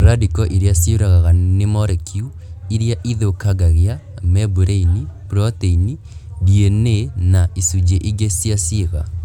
Randiko irĩa cĩũrũraga nĩ morekiu irĩa ithũkangagia membraini, proteini , DNA na icunjĩ ingĩ cia ciĩga